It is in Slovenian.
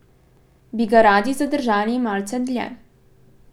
Bi ga radi zadržali malce dlje?